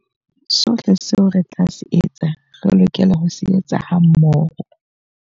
Sohle seo re tla se etsa, re lokela ho se etsa hammoho.